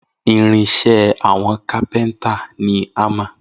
Irin iṣẹ́ àwọn cápéntà ni hámà